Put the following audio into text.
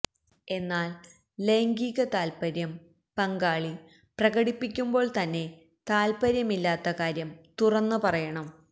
എന്നാല് ലൈംഗിക താത്പര്യം പങ്കാളി പ്രകടിപ്പിക്കുമ്പോള് തന്നെ താത്പര്യമില്ലാത്ത കാര്യം തുറന്ന് പറയണം